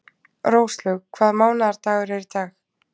Róslaug, hvaða mánaðardagur er í dag?